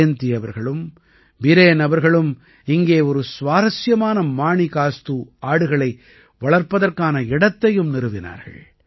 ஜயந்தி அவர்களும் பீரேன் அவர்களும் இங்கே ஒரு சுவாரசியமான மாணிகாஸ்து ஆடுகளை வளர்ப்பதற்கான இடத்தையும் நிறுவினார்கள்